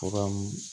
Furamu